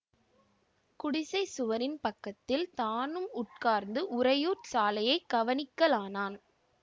குடிசைச் சுவரின் பக்கத்தில் தானும் உட்கார்ந்து உறையூர் சாலையை கவனிக்கலானான்